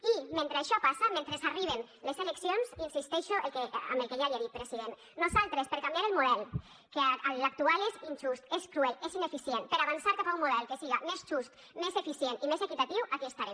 i mentre això passa mentre arriben les eleccions insisteixo en el que ja li he dit president nosaltres per canviar el model que l’actual és injust és cruel és ineficient per avançar cap a un model que siga més just més eficient i més equitatiu aquí estarem